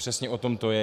Přesně o tom to je.